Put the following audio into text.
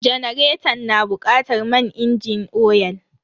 Janaretan na bukatar man inji oyal.